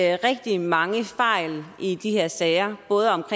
er rigtig mange fejl i de her sager